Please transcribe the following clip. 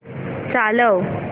चालव